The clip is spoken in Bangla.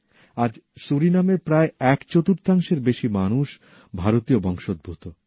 আজ সুরিনামের প্রায় এক চতুর্থাংশেরও বেশি মানুষ ভারতীয় বংশোদ্ভুত